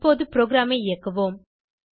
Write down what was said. இப்பொது ப்ரோகிராமை இயக்குவோம்